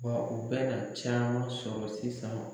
Wa u bɛna caman sɔrɔ sisan.